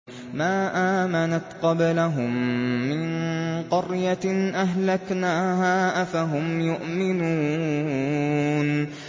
مَا آمَنَتْ قَبْلَهُم مِّن قَرْيَةٍ أَهْلَكْنَاهَا ۖ أَفَهُمْ يُؤْمِنُونَ